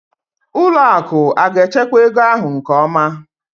ụlọ akụ aga-echekwa ego ahụ nke ọma?